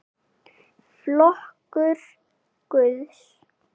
Flokkur Guðs?